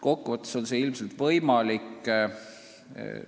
Kokkuvõttes on see ilmselt võimalik.